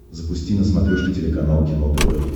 запусти на смотрешке телеканал кино тв